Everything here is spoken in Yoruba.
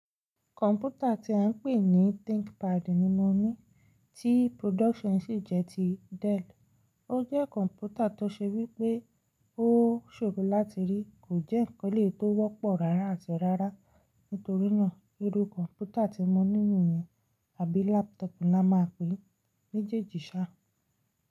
Kọ̀mpútà tí à ń pè ní ThinkPad ni mo ní, tí production sì jẹ́ ti Dell. Ó jẹ́ kọ̀mpútà tó ṣe wí pé ó ṣòro láti rí, kò jẹ́ ǹkan tó wọ́pọ̀ rárá àti rárá, nítorínà irú kọ̀mpútà tí mo ní nìyẹn, àbí laptop la máa pè méjèjì sá.